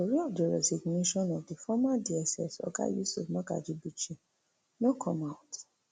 but tori of di resignation of di former dss oga yusuf magaji bichi no come out